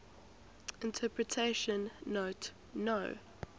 interpretation note no